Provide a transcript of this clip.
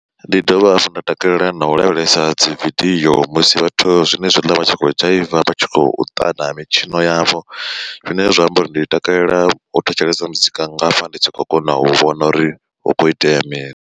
Ndi dovha hafhu nda takalela na u lavhelesa dzividio musi vhathu zwenezwiḽa vha tshi khou dzhaiva vha tshi khou ṱana mitshino yavho. Zwine zwa amba uri ndi takalela u thetshelesa muzika ngafha ndi tshi khou kona u vhona uri hu kho itea mini.